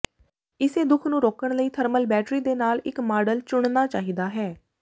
ਇਸੇ ਦੁੱਖ ਨੂੰ ਰੋਕਣ ਲਈ ਥਰਮਲ ਬੈਟਰੀ ਦੇ ਨਾਲ ਇੱਕ ਮਾਡਲ ਚੁਣਨਾ ਚਾਹੀਦਾ ਹੈ